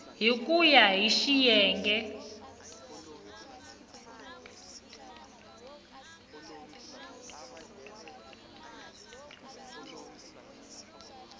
hi ku ya hi xiyenge